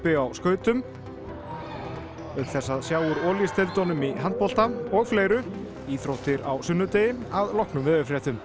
á skautum auk þess að sjá úr Olís deildunum í handbolta og fleiru íþróttir á sunnudegi að loknum veðurfréttum